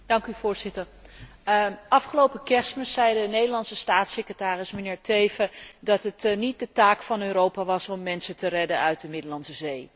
Voorzitter, afgelopen Kerstmis zei de Nederlandse staatssecretaris, mijnheer Teeven, dat het niet de taak van Europa was om mensen te redden uit de Middellandse Zee.